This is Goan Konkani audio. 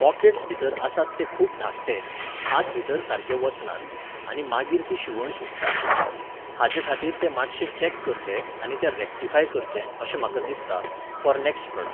पॉकॅट्स भितर आसात ते खूब धाकटे, हात भितर सारके वचनात, आनी मागीर ती शिवण सुट्टा. हाचेखातीर तें मातशें चॅक करचें आनी तें रेक्टिफाय करचें अशें म्हाका दिसता, फॉर नॅक्सट प्रॉडक्ट